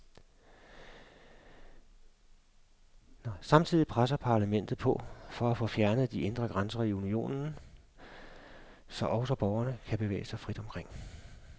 Samtidig presser parlamentet på for at få fjernet de indre grænser i unionen, så også borgerne kan bevæge sig frit omkring.